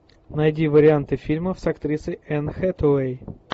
найди варианты фильмов с актрисой энн хэтэуэй